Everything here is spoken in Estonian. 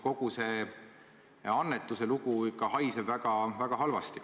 Kogu see annetuse lugu haiseb ikka väga halvasti.